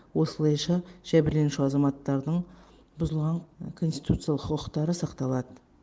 осылайша жәбірленуші азаматтардың бұзылған конституциялық құқықтары сақталады